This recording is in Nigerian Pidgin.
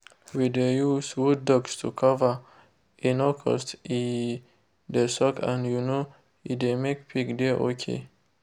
we de use wooddust to cover_ e no cost e de soak and um e de make pig de okay.